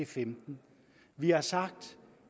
femten vi har sagt